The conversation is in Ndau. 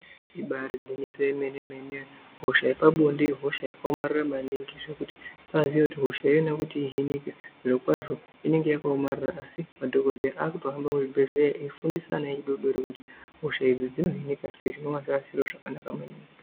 Ibari gwinyiso yemene mene hosha yepabonde ihosha yakaomarara maningi zvekuti kubaxiye kuti hosha iyona ihinika zviro kwazvo inenge yakaomarara asi madhokodheya akutohamba muzvibhedhleya eifundisa ana adodori kuti hosha idzi dzinohinika sei zvinova zviri zviro zvakanaka maningi.